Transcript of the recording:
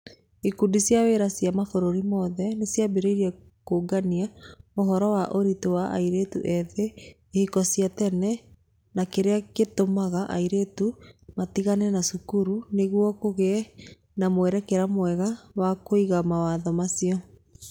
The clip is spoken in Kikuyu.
Ikundi cia wĩra cia mabũrũri mothe nĩ ciambĩrĩirie kũũngania ũhoro wa ũritũ wa airĩtũ ethĩ, ihiko cia tene, na kĩrĩa gĩtũmaga airĩtu matigane na cukuru nĩguo kũgĩe na mwerekera mwega wa kũiga mawatho macio.